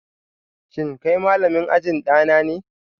Shin kai malamin ajin dana ne?